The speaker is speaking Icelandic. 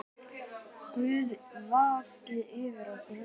Guð vaki yfir ykkur öllum.